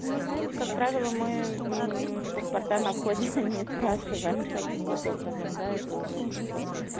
ну знаете как правило мы паспорта на входе не спрашиваем таким вот образом да это уже как бы